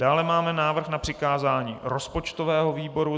Dále máme návrh na přikázání rozpočtovému výboru.